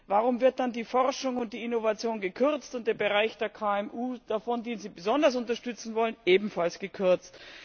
Warum wird dann die Forschung und die Innovation gekürzt und der Bereich der KMU davon, den Sie besonders unterstützen wollen, ebenfalls gekürzt?